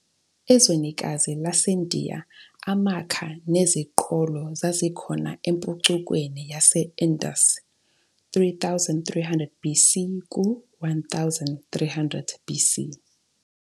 Ezwenikazi laseNdiya, amakha neziqholo zazikhona empucukweni yase-Indus, 3300 BC - 1300 BC.